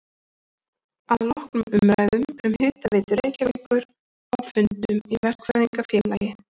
Að loknum umræðum um Hitaveitu Reykjavíkur á fundum í Verkfræðingafélagi